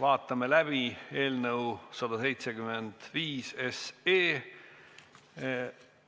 Vaatame läbi eelnõu 175